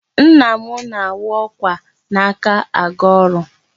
Nna na-anwụ ọkwa n'aka aga ọrụ.